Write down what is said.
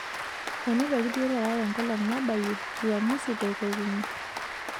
Enotoki duo taata tenkolong nabayie uamusi te kotini.